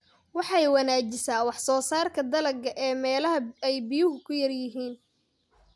Waxay wanaajisaa wax soo saarka dalagga ee meelaha ay biyuhu ku yar yihiin.